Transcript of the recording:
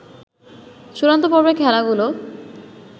চূড়ান্ত পর্বের খেলাগুলো